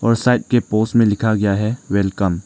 और साइड की पोस्ट में लिखा गया है वेलकम ।